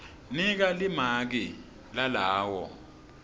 nika limaki lalawo